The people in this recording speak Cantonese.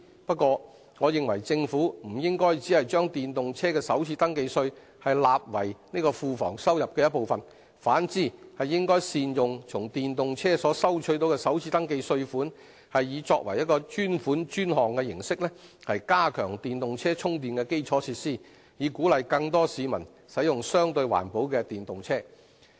不過，我認為政府不應只把電動車的首次登記稅納為庫房收入的一部分，反之應善用從電動車所收取的首次登記稅款，以專款專項的形式，加強電動車充電的基礎設施，以鼓勵更多市民使用相對環保的電動車。